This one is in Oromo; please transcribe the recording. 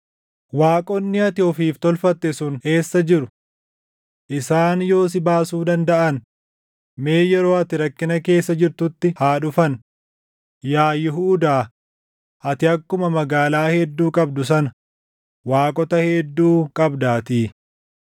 Waaqonni ati ofiif tolfatte sun eessa jiru? Isaan yoo si baasuu dandaʼan mee yeroo ati rakkina keessa jirtutti haa dhufan! Yaa Yihuudaa, ati akkuma magaalaa hedduu qabdu sana waaqota hedduu qabdaatii.